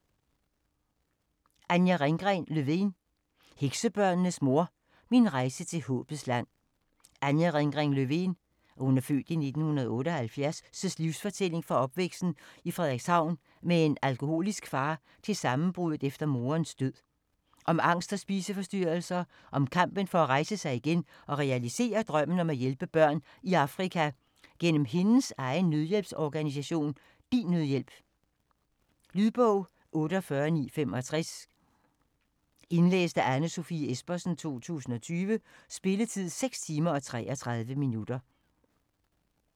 Lovén, Anja Ringgren: Heksebørnenes mor: min rejse til Håbets Land Anja Ringgren Lovéns (f. 1978) livsfortælling fra opvæksten i Frederikshavn med en alkoholisk far til sammenbruddet efter moderens død. Om angst og spiseforstyrrelser og kampen for at rejse sig igen og realisere drømmen om at hjælpe børn i Afrika gennem hendes egen nødhjælpsorganisation DINNødhjælp. Lydbog 48965 Indlæst af Anne Sofie Espersen, 2020. Spilletid: 6 timer, 33 minutter.